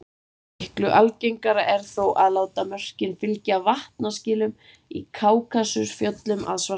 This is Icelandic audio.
Miklu algengara er þó að láta mörkin fylgja vatnaskilum í Kákasusfjöllum að Svartahafi.